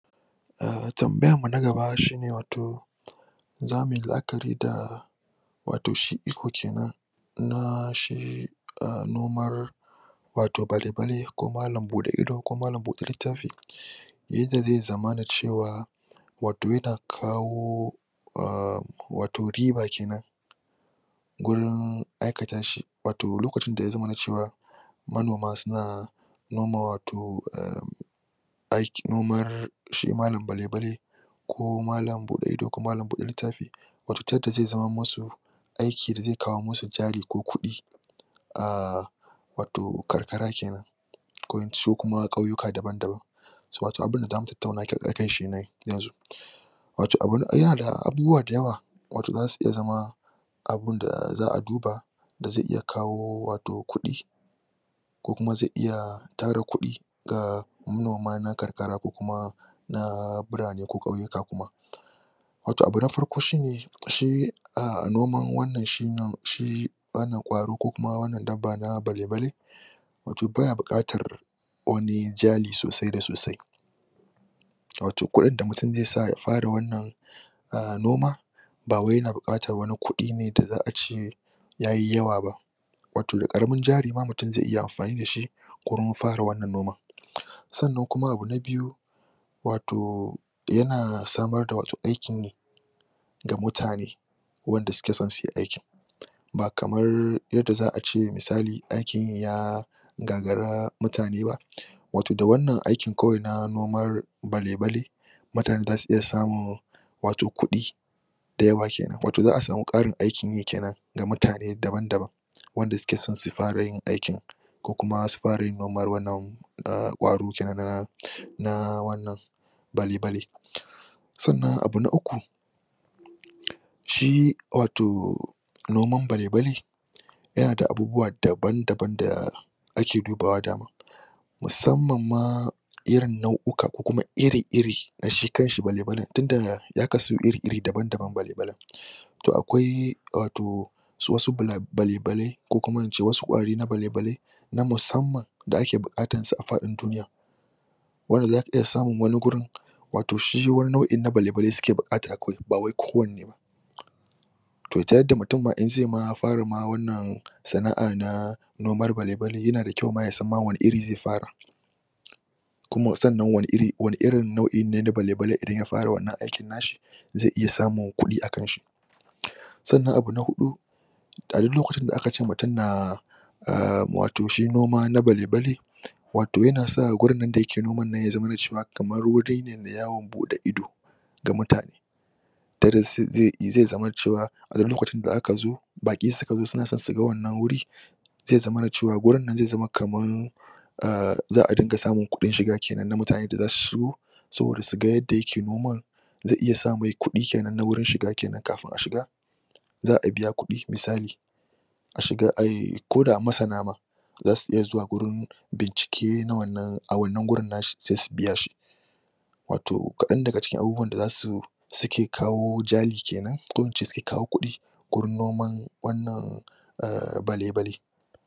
Ah tambayanmu na gaba shine wato za mu yi la'akari da wato shi iko kenan na shi a nomar balebale, ko malam buɗe ido ko malam buɗe littafi yadda zai zamana cewa wato yana kawo ahhm wato riba kenan gurin aikata shi, wato lokacin da ya zamana cewa manoma suna noma wato ehhn aikin, nomar shi malam balebali ko malam buɗe ido ko malam buɗe littafi, wato ta yadda zai zamanmusu aiki da zai kawo musu jari ko kuɗi. Ahh wato karkara kenan ko kuma ƙauyuka dabam-dabam. Wato abunda za mu tattauna akan shi kenan yanzu. wato yana da abubuwa da yawa wato za su iya zama abunda za'a duba za zai iya kawo wato kuɗi ko kuma zai iya tara kuɗi ga manoma na karkara ko kuma na birane ko ƙauyuka kuma Wato abu na farko shine, shi ah noman shi wannan wannan ƙwaro ko kuma shi wannan dabba na balebale wato baya buƙatar wani jari sosai da sosai wato kuɗin da mutum zai sa ya fara wannan ahh noma ba wai yana buƙatar wani kuɗi ne da zai ce yayi yawa ba, wato da ƙaramin jarima mutum zai iya kurmin fara wannan noman. Sannan kuma abu na biyu, wato, yana samar da wato aikin yi ga mutane wanda suke so su yi aikin ba kamar yadda za'a ce misali aikin ya gagara mutane ba Wato da wannan aikin kawai na nomar balebali mutane za su iya samun wato kuɗi da yawa kenan, wato za'a samu ƙarin aikin yi kenan da mutane daban-dabam wanda suke son su fara yin aikin ko kuma su fara yin nomar wannan ahh ƙwaro kenan na wannan balebale. Sannan abu na Uku, shi, wato nopman balebali yana da abubuwa daban-daban da ake dubawa musamman ma irin nau'ikan ko kuma iri-irin da shi kans hsi balebalin, tunda ya kasu iri-iri, dabam-dabam, balebalin. To akwai, wato su wasu balebalai, ko kuma in ce wasu ƙwari na balebali, na musamman da ake buƙatar su a faɗin duniya. wanda a ka iya smun wani gurin wato shi wani nau'in na balebalin suke buƙata ba wai kowanne ba. To ta yadda mutum ma inzai ma fara wannan sana'a na nomar balebali, yana da kyau ma ya san wanne iri zai fara. sannan wanne irin nau'i ne da balebalin idan y fara wannan aikn na shi zai iya samun kuɗi akan shi. Sannan abu na Huɗu, a duk lokacin da aka ce mutum na ahh wato shi noma na balebale, wato yana sa gurin nann da yake noman nan ya zamana cewa kamar wuri ne na yawon buɗe ido ga mutane. Zai zamana cewa, a duk lokacin da aka zo, baƙi suka zo suna so suga wannn wuri, zai zamana cewa wurin nan zai zama kamar, ahh za'a dinga samun kuɗin shiga kenan na mutane da suka zo wurin su ga yadda yake nomar, da iya samai kuɗi kenan na wurin shiga kenan kafin a shiga za'a biya kuɗi, isali a shiga ai, ko da masana ma zasu iya zuwa gurin bincike a wannan wurin a shi sai su biya shi. Wato kaɗan daga cikin abubuwan da za su suke kawo jali kenan ko in ce suke kawo kuɗi, gurin noman wannan ahh balebali.